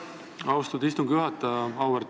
Aitäh, austatud istungi juhataja!